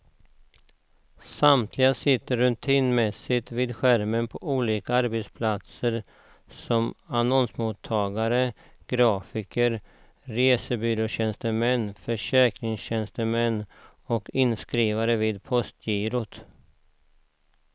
Samtliga sitter rutinmässigt vid skärmar på olika arbetsplatser som annonsmottagare, grafiker, resebyråtjänstemän, försäkringstjänstemän och inskrivare vid postgirot.